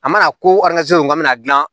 A mana ko k'an bɛna dilan